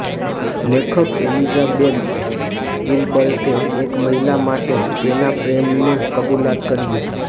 લેખક એલિઝાબેથ ગિલબર્ટે એક મહિલા માટે તેના પ્રેમનું કબૂલાત કર્યું